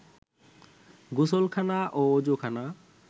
গোসলখানা ও অযুখানা